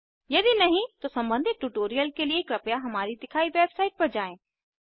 यदि नहीं तो सम्बंधित ट्यूटोरियल के लिए कृपया हमारी दिखाई वेबसाईट पर जाएँ